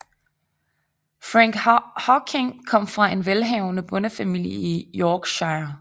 Frank Hawking kom fra en velhavende bondefamilie i Yorkshire